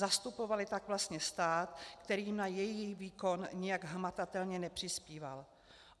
Zastupovaly tak vlastně stát, který jim na jejich výkon nijak hmatatelně nepřispíval.